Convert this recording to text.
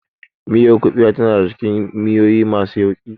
Miyar kuɓewa tana daka cikin miyoyi masu yauƙi.